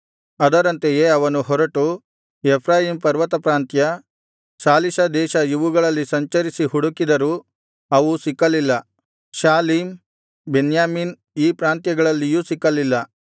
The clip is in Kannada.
ಅದರಂತೆಯೇ ಅವನು ಹೊರಟು ಎಫ್ರಾಯೀಮ್ ಪರ್ವತಪ್ರಾಂತ್ಯ ಶಾಲಿಷಾ ದೇಶ ಇವುಗಳಲ್ಲಿ ಸಂಚರಿಸಿ ಹುಡುಕಿದರೂ ಅವು ಸಿಕ್ಕಲಿಲ್ಲ ಶಾಲೀಮ್ ಬೆನ್ಯಾಮೀನ್ ಈ ಪ್ರಾಂತ್ಯಗಳಲ್ಲಿಯೂ ಸಿಕ್ಕಲಿಲ್ಲ